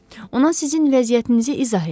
Ona sizin vəziyyətinizi izah etdim.